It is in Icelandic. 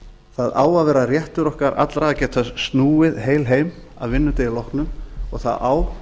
það á að vera réttur okkar allra að geta snúið heil heim að vinnudegi loknum og það á